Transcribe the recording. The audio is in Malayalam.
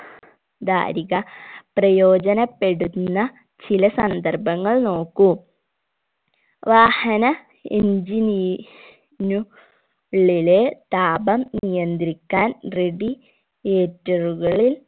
ധാരിക പ്രയോജനപ്പെടുന്ന ചില സന്ദർഭങ്ങൾ നോക്കൂ വാഹന engine നു ഉള്ളിലെ താപം നിയന്ത്രിക്കാൻ radi ator കളിൽ